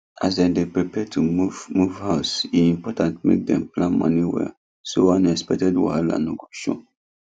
as dem dey prepare to move move house e important make dem plan money well so unexpected wahala no go show